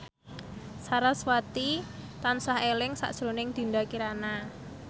sarasvati tansah eling sakjroning Dinda Kirana